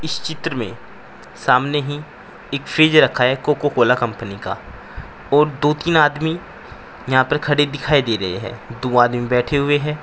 इस चित्र में सामने ही एक फ्रिज रखा है कोको कोला कंपनी का और दो तीन आदमी यहां पर खड़े दिखाई दे रहे है दो आदमी बैठे हुए है।